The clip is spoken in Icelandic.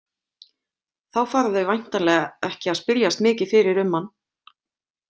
Þá fara þau væntanlega ekki að spyrjast mikið fyrir um hann.